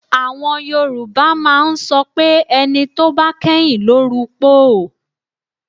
Àwọn Yorùbá máa ń sọ pé ẹni tó bá kẹ́yìn ló rupòó